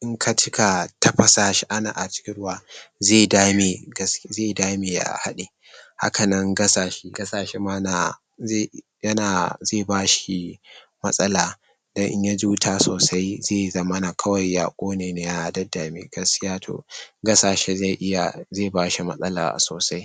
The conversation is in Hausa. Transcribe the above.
in ka cika tafasa shi a cikin ruwa zai dame zai dame ya haɗe. Hakanan gasa shi ma na zai yana zai bashi matsala dan in yaji wuta sosai zai zamana kawai ya ƙone ne ya daddame gaskiya to gasa shi zai iya zai bashi matsala sosai.